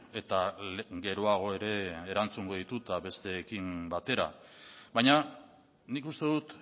eta geroago ere erantzungo ditut besteekin batera baina nik uste dut